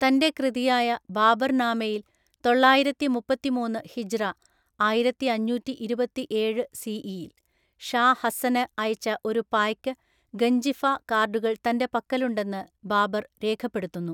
തൻ്റെ കൃതിയായ ബാബർനാമയിൽ, തൊള്ളായിരത്തി മുപ്പത്തിമൂന്നു ഹിജ്റ (ആയിരത്തിഅഞ്ഞൂറ്റി ഇരുപത്തിഏഴു സി.ഇ.) ഷാ ഹസ്സന് അയച്ച ഒരു പായ്ക്ക് ഗഞ്ചിഫ കാർഡുകൾ തന്റെ പക്കലുണ്ടെന്ന് ബാബർ രേഖപ്പെടുത്തുന്നു.